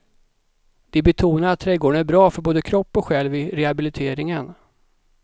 De betonar att trädgården är bra för både kropp och själ vid rehabiliteringen.